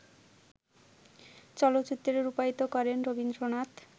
চলচ্চিত্রে রূপায়িত করেন রবীন্দ্রনাথ